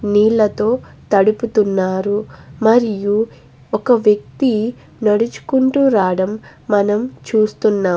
నీళ్లతో తడుపుతున్నారు మరియు ఒక వక్తి నడుచు కుంటూ రాడం మనం చుస్తునాం --